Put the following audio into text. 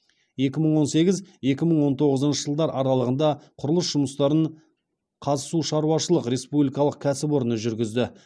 екі мың он сегіз екі мың он тоғызыншы жылдар аралығында құрылыс жұмыстарын қазсушаруашышылық республикалық кәсіпорны жүргізді